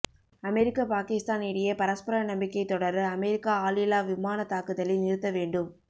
அமெரிக்க பாகிஸ்தான் இடையே பரஸ்பர நம்பிக்கை தொடர அமெரிக்கா ஆளில்லா விமான தாக்குதலை நிறுத்த வேண்டும்